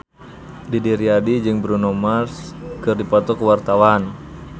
Didi Riyadi jeung Bruno Mars keur dipoto ku wartawan